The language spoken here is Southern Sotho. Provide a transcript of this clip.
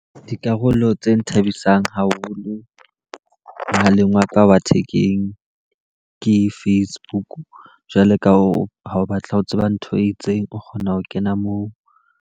Dikarolo tse nthabisang haholo mohaleng wa ka wa thekeng ke Facebook, jwalo ka o ha o batla ho tseba ntho e itseng, o kgona ho kena moo.